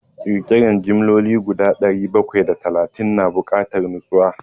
Ƙirƙiran jimloli guda dari bakwai da talatin na bukatar nutsuwa.